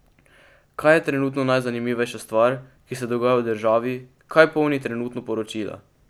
Kaj je trenutno najzanimivejša stvar, ki se dogaja v državi, kaj polni trenutno poročila?